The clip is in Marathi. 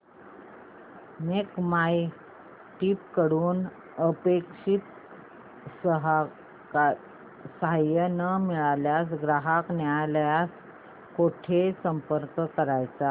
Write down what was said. मेक माय ट्रीप कडून अपेक्षित सहाय्य न मिळाल्यास ग्राहक न्यायालयास कुठे संपर्क करायचा